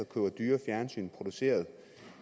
køber dyre fjernsyn produceret